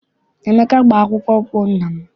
Emeka gba akpụkpọ ụkwụ nna m.